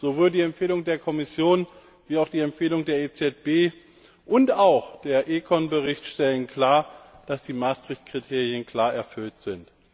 Sowohl die Empfehlung der Kommission wie auch die Empfehlung der EZB und auch der ECON Bericht stellen klar, dass die Maastricht Kriterien klar erfüllt sind.